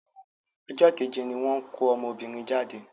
Ọjọ́ kéje ní wọ́n ko ọmọbìnrin jáde.